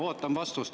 Ootan vastust.